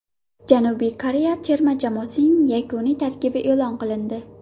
Janubiy Koreya terma jamoasining yakuniy tarkibi e’lon qilindi.